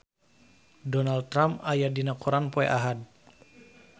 Donald Trump aya dina koran poe Ahad